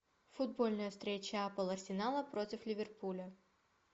футбольная встреча апл арсенала против ливерпуля